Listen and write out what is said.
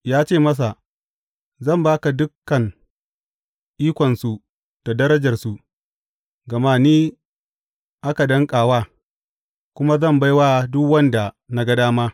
Ya ce masa, Zan ba ka dukan ikonsu da darajarsu, gama ni aka danƙa wa, kuma zan bai wa duk wanda na ga dama.